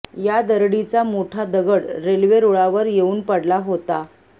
या दरडीचा मोठा दगड रेल्वे रुळावर येऊन पडला होता